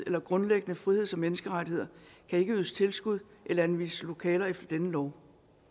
eller grundlæggende friheds og menneskerettigheder kan ikke ydes tilskud eller anvises lokaler efter denne lov